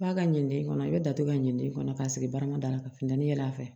F'a ka ɲinde i kɔnɔ i bɛ datugu ka ɲin'i kɔnɔ k'a sigi baarama da la ka funteni yɛlɛ a fɛ